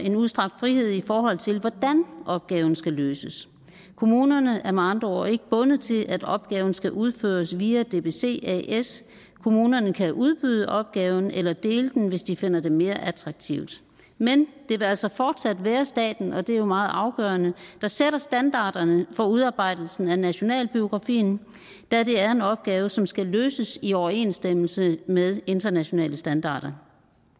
en udstrakt frihed i forhold til hvordan opgaven skal løses kommunerne er med andre ord ikke bundet til at opgaven skal udføres via dbc as kommunerne kan udbyde opgaven eller dele den hvis de finder det mere attraktivt men det vil altså fortsat være staten og det er jo meget afgørende der sætter standarderne for udarbejdelsen af nationalbiografien da det er en opgave som skal løses i overensstemmelse med internationale standarder